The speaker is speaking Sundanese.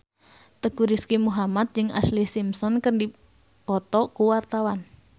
Teuku Rizky Muhammad jeung Ashlee Simpson keur dipoto ku wartawan